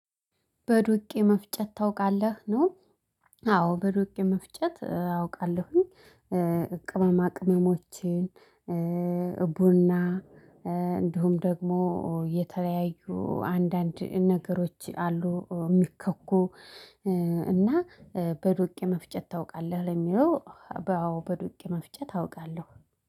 በዱቄ መፍጨት ታውቃለህ ነው? አዎ በዱቄ መፍጨት አውቃለሁኝ። ቅመሞችን ቡና እንዲሁም ደግሞ የተለያዩ አንዳንድ ነገሮች አሉ የሚከኩ። እና በዱቄ መፍጨት ታውቃለህ ለሚለው? አዎ በዱቄ መፍጨት አውቃለሁ